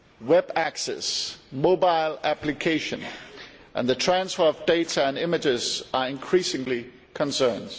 Web access, mobile applications and the transfer of data and images are increasingly concerns.